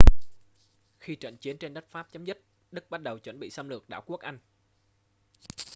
khi trận chiến trên đất pháp chấm dứt đức bắt đầu chuẩn bị xâm lược đảo quốc anh